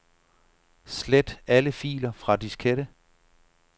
Slet alle filer fra diskette.